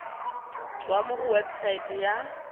tswa mo go website ya